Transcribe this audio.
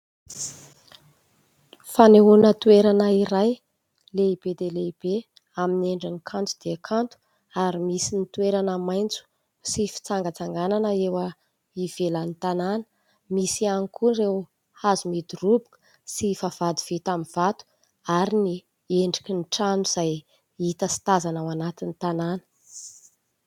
Fanehoana toerana iray lehibe dia lehibe amin'ny endriny kanto dia kanto ary misy ny toerana maitso sy fitsangatsanganana eo ivelan'ny tanàna ; misy ihany koa ireo hazo midoroboka sy vavahady vita amin'ny vato ary ny endriky ny trano izay hita sy tazana ao anatin'ny tanàna.